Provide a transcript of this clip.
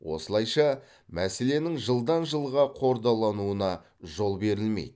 осылайша мәселенің жылдан жылға қордалануына жол берілмейді